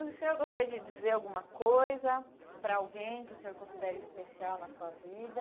O senhor gostaria de dizer alguma coisa para alguém que o senhor considera especial na sua vida?